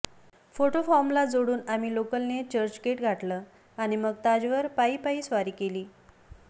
photo फॉर्मला जोडून आम्ही लोकलने चर्चगेट गाठलं आणि मग ताजवर पायी पायी स्वारी केली